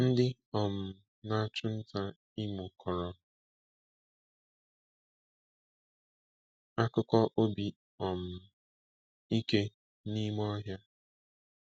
Ndị um na-achụ nta Imo kọrọ akụkọ obi um ike n’ime ọhịa.